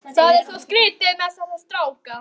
Það er svo skrýtið með þessa stráka.